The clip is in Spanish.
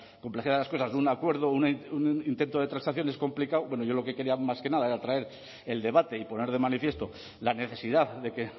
complejidad de las cosas un acuerdo un intento de transacción es complicado bueno yo lo que quería más que nada era traer el debate y poner de manifiesto la necesidad de que